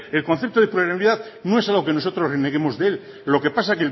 el concepto de plurianualidad no es algo que nosotros reneguemos de él lo que pasa